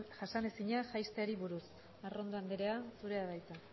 jasanezinak jaisteari buruz arrondo andrea zurea da hitza